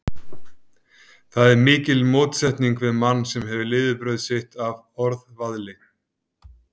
Það er mikil mótsetning við mann, sem hefur lifibrauð sitt af orðavaðli.